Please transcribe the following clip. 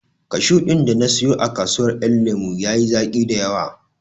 Kashu ɗin da na siyo a kasuwar ƴan lemo ya yi zaƙi dayawa